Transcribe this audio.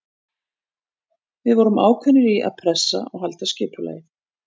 Við vorum ákveðnir í að pressa og halda skipulagi.